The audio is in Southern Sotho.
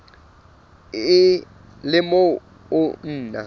le o mong o na